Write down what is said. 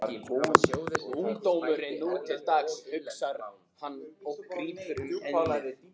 Ungdómurinn nú til dags, hugsar hann og grípur um ennið.